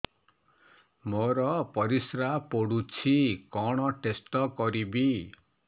ମୋର ପରିସ୍ରା ପୋଡୁଛି କଣ ଟେଷ୍ଟ କରିବି